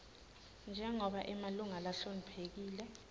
njengobe emalunga lahloniphekile